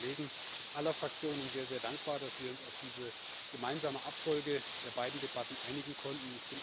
Ich bin den Kollegen aller Fraktionen sehr dankbar, dass wir uns auf diese gemeinsame Abfolge der beiden Debatten einigen konnten.